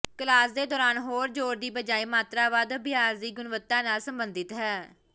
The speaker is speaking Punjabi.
ਕਲਾਸ ਦੇ ਦੌਰਾਨ ਹੋਰ ਜ਼ੋਰ ਦੀ ਬਜਾਏ ਮਾਤਰਾ ਵੱਧ ਅਭਿਆਸ ਦੀ ਗੁਣਵੱਤਾ ਨਾਲ ਸਬੰਧਿਤ ਹੈ